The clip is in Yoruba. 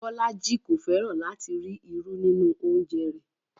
Bọlájí kò fẹ́ràn lati rí irù nínu ọ̀unjẹ̀ rẹ.